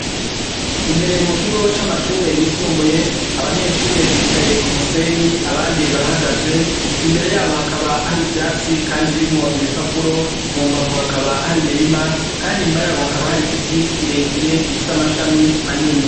Imbere mu kigo cy'amashuri yisumbuye, abanyeshure bicaye k'umusenyi, abandi barahagaze. Imbere y'abo, hakaba hari ivyatsi , kandi birimwo ibipapuro . Mu mbavu hakaba hari imirima , kandi inyuma y'abo, hakaba har'igiti kirekire gifise amashami manini